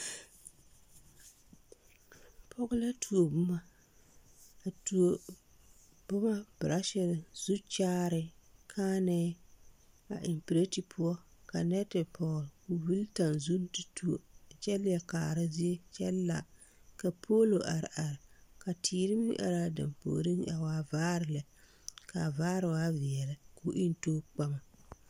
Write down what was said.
Pɔge la tuo boma a tuo boma braashire zukyaare kããnɛɛ a eŋ pirɛte poɔ ka nɛte pɔge ko vili taŋzune de tuo kyɛ leɛ kaara zie kyɛ la ka poolo are are ka teere meŋ araa dampuoriŋ a waa vaare lɛ ka a vaare waa veɛle ko eŋ too kpama.